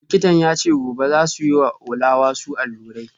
Likitan ya ce gobe za su yi wa Ola wasu allurai